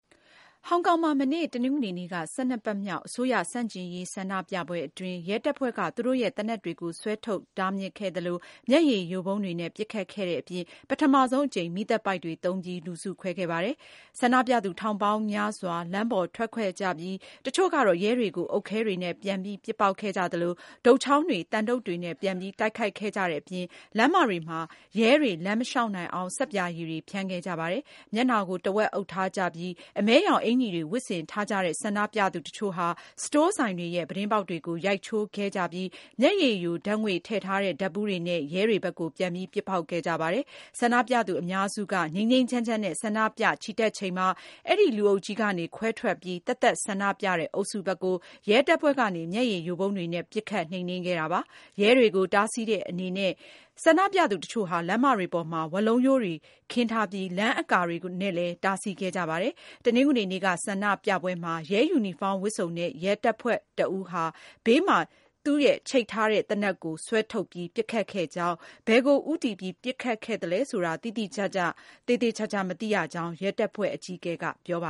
ဟောင်ကောင်မှာ မနေ့ တနင်္ဂနွေနေ့က ၁၂ ပတ်မြောက် အစိုးရ ဆန့်ကျင်ရေး ဆန္ဒပြပွဲကို ရဲတပ်ဖွဲ့က သူတို့ရဲ့ သေနတ်တွေကို ဆွဲထုတ်တားမြစ်ခဲ့သလို မျက်ရည်ယိုဗုံးတွေနဲ့ ပစ်ခတ်ခဲ့တဲ့အပြင် ပထမဆုံးအကြိမ် မီးသတ်ပိုက်တွေသုံးပြီး လူစုခွဲခဲ့ပါတယ်။ ဆန္ဒပြသူထောင်ပေါင်းများစွာ လမ်းပေါ်ထွက်ခဲ့ကြသလို တချို့ကတော့ ရဲတွေကို အုတ်ခဲတွေနဲ့ ပြန်ပြီး ပစ်ပေါက်ခဲ့ကြသလို တုတ်ချောင်းတွေ၊ သံတုတ်တွေနဲ့ ပြန်ပြီး တိုက်ခိုက်ခဲ့ကြတဲ့အပြင် လမ်းမတွေမှာ ရဲတွေ လမ်းမလျှောက်နိုင်အောင် ဆပ်ပြာရည်တွေ ဖြန်းခဲ့ကြပါတယ်။ မျက်နှာကို တဝက်အုပ်ထားကြပြီး အမည်းရောင်အင်္ကျီတွေ ဝတ်ဆင်ထားကြတဲ့ ဆန္ဒပြသူတချို့ဟာ စတိုးဆိုင်တွေရဲ့ ပြတင်းပေါက်တွေကို ရိုက်ချိုးခဲ့ကြပြီး မျက်ယိုရည်ဓာတ်ငွေ့ထားတဲ့ ဓာတ်ဘူးတွေနဲ့ ရဲတွေဘက်ကို ပြန်ပြီး ပစ်ပေါက်ခဲ့ကြပါတယ်။ ဆန္ဒပြသူအများစုက ငြိမ်းငြိမ်းချမ်းချမ်းနဲ့ ဆန္ဒပြချီတက်ချိန်မှာ အဲဒီ လူအုပ်ကြီးကနေ ခွဲထွက်ပြီး သတ်သတ်ဆန္ဒပြတဲ့ အုပ်စုဘက်ကို ရဲတပ်ဖွဲ့ကနေ မျက်ရည်ယိုဗုံးတွေနဲ့ ပစ်ခတ်နှိမ်နင်းခဲ့ပါတယ်။ ရဲတွေကို တားဆီးတဲ့အနေနဲ့ ဆန္ဒပြသူတချို့ဟာ လမ်းမတွေပေါ်မှာ ဝါးလုံးရိုးတွေခင်းထားပြီး လမ်းအကာတွေနဲ့လည်း တားဆီးခဲ့ကြပါတယ်။ တနင်္ဂနွေနေ့က ဆန္ဒပြပွဲမှာ ရဲယူနီဖောင်းဝတ်စုံနဲ့ ရဲတပ်ဖွဲ့တဦးဟာ ဘေးမှာ ချိတ်ထားတဲ့ သူ့ရဲ့သေနတ်ကို ဆွဲထုတ်ပြီး ပစ်ခတ်ခဲ့ကြောင်း၊ ဘယ်ကိုဦးတည်ပြီး ပစ်ခတ်ခဲ့သလဲဆိုတာ သေသေချာချာ မသိရကြောင်း ရဲတပ်ဖွဲ့အကြီးအကဲ Kwok Win ကပြောပ